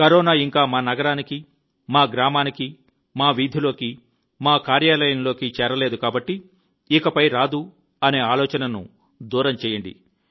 corona ఇంకా మా నగరానికి మా గ్రామానికి మా వీధిలోకి మా కార్యాలయంలోకి చేరలేదు కాబట్టి ఇకపై రాదు అనే ఆలోచనను దూరం చేయండి